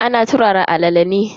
Ana turara alala ne.